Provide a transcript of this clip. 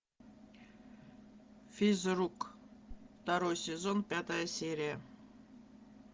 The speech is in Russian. физрук второй сезон пятая серия